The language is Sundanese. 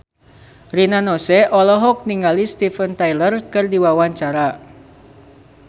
Rina Nose olohok ningali Steven Tyler keur diwawancara